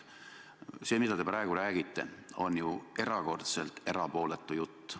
See, mida te praegu räägite, on ju erakordselt erapooletu jutt.